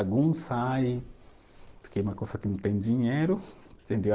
Alguns saem porque é uma coisa que não tem dinheiro, entendeu?